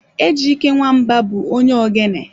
Ejyke Nwamba bụ onye ogene.